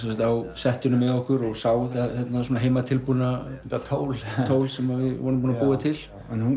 á settinu með okkur og sá þetta heimatilbúna tól sem við vorum búnir að búa til